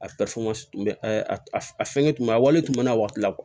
A tun bɛ a fɛngɛ tun bɛ a wale tun bɛ na waati la